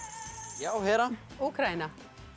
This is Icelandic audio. já Hera Úkraína